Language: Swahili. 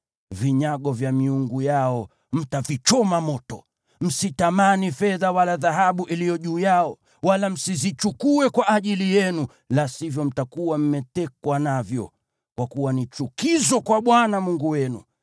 Vinyago vya miungu yao mtavichoma moto. Msitamani fedha wala dhahabu iliyo juu yao, wala msizichukue kwa ajili yenu, la sivyo mtakuwa mmetekwa navyo. Kwa kuwa ni chukizo kwa Bwana Mungu wenu.